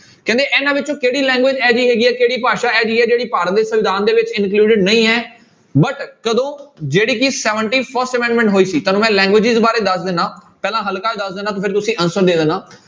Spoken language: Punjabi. ਕਹਿੰਦੇ ਇਹਨਾਂ ਵਿੱਚੋਂ ਕਿਹੜੀ language ਇਹ ਜਿਹੀ ਹੈਗੀ ਹੈ ਕਿਹੜੀ ਭਾਸ਼ਾ ਇਹ ਜਿਹੀ ਆ ਜਿਹੜੀ ਭਾਰਤ ਦੇ ਸੰਵਿਧਾਨ ਦੇ ਵਿੱਚ included ਨਹੀਂ ਹੈ but ਕਦੋਂ ਜਿਹੜੀ ਕਿ seventy first amendment ਹੋਈ ਸੀ ਤੁਹਾਨੂੰ ਮੈਂ languages ਬਾਰੇ ਦੱਸ ਦਿਨਾ ਪਹਿਲਾ ਹਲਕਾ ਦੱਸ ਦਿਨਾ ਤੇ ਫਿਰ ਤੁਸੀਂ answer ਦੇ ਦੇਣਾ।